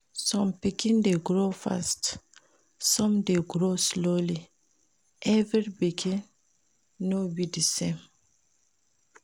some pikin de grow fast some de grow slowly every pikin no be din same